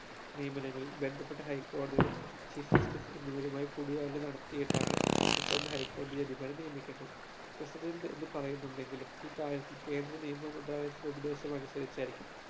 നിയനങ്ങളിൽ ബന്ധപ്പെട്ട high കോടതിയുടെ chief justice എന്നിവരുമായി കൂടിയാലോചന നടത്തിയിട്ടാണ് president high കോടതിയുടെ judge മാരെ നിയമിക്കേണ്ടത് president എന്ന് പറയുന്നുണ്ടെങ്കിലും ഈ കാര്യത്തിൽ കേന്ദ്ര നിയമ മന്ത്രാലയത്തിന്റെ ഉപദേശം അനുസരിച്ചായിരിക്കും